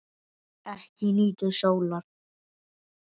Ekki nýtur sólar.